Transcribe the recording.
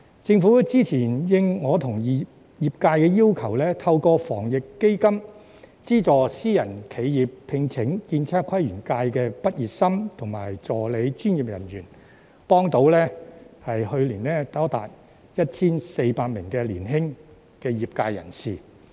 政府早前因應我和業界要求，透過防疫抗疫基金，資助私人企業聘請建測規園界的畢業生和助理專業人員，去年協助多達 1,400 名年輕業界人士。